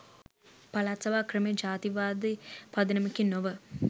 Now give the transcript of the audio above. පළාත් සභා ක්‍රමය ජාතිවාදී පදනමකින් නොව